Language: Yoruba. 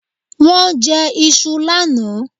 Wón jẹ iṣu lánàá